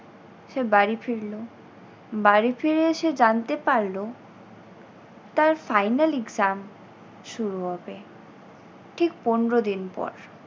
সে বাড়ি ফিরল। বাড়ি ফিরে এসে জানতে পারলো তার final exam শুরু হবে ঠিক পনেরো দিন পর।